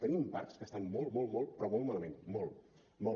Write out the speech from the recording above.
tenim parcs que estan molt molt molt però molt malament molt molt